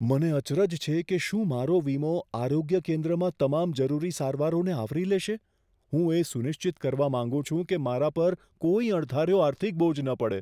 મને અચરજ છે કે શું મારો વીમો આરોગ્ય કેન્દ્રમાં તમામ જરૂરી સારવારોને આવરી લેશે? હું એ સુનિશ્ચિત કરવા માંગુ છું કે મારા પર કોઈ અણધાર્યો આર્થિક બોજ ન પડે.